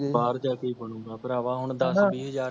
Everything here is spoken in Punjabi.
ਬਾਹਰ ਜਾ ਕੇ ਈ ਬਣੁਗਾ ਭਰਾਵਾਂ ਹੁਣ ਦਸ ਬੀਹ ਹਜ਼ਾਰ